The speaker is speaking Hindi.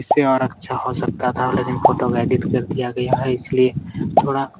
इससे और अच्छा हो सकता था लेकिन फोटो को एडिट कर दिया गया है इसलिए थोड़ा --